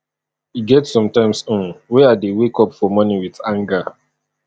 e get sometimes um wey i dey wake up for morning wit anger